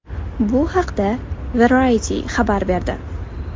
Bu haqda Variety xabar berdi .